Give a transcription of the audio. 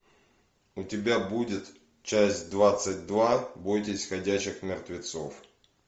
у тебя будет часть двадцать два бойтесь ходячих мертвецов